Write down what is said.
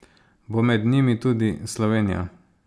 Bo med njimi tudi Slovenija?